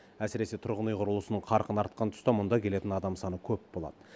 әсіресе тұрғын үй құрылысының қарқыны артқан тұста мұнда келетін адам саны көп болады